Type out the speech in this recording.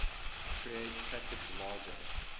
create packets larger